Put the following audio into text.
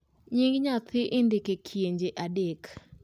nyinge nyathi indiko e kienje adek